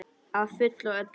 Að fullu og öllu.